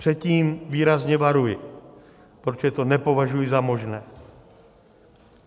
Před tím výrazně varuji, protože to nepovažuji za možné.